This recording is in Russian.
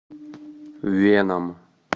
веном